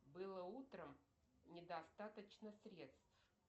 было утром недостаточно средств